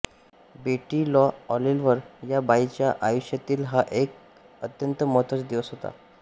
बेटी Lou Oliver या बाईच्या आयुष्यातील हा एक अत्यंत महत्त्वाचा दिवस होता